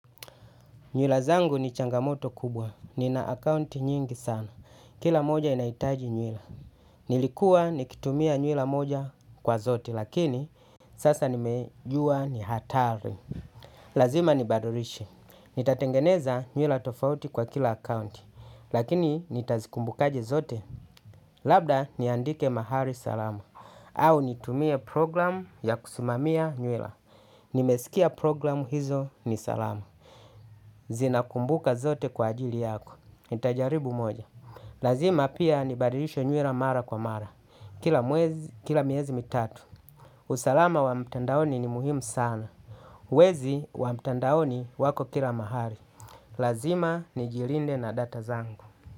Nywila zangu ni changamoto kubwa. Nina akaunti nyingi sana. Kila moja inaitaji nyula. Nilikuwa nikitumia nywila moja kwa zote lakini sasa nimejua ni hatari. Lazima ni badilishe. Nitatengeneza nywila tofauti kwa kila akaunti. Lakini nitazikumbukaje zote? Labda niandike mahali salama. Au nitumia programu ya kusumamia nywila. Nimesikia programu hizo ni salama. Zinakumbuka zote kwa ajili yako, nitajaribu moja. Lazima pia ni badilishe nywila mara kwa mara kila mwezi, kila miezi mitatu. Usalama wa mtandaoni ni muhimu sana. Wezi wa mtandaoni wako kila mahali. Lazima nijilinde na data zangu.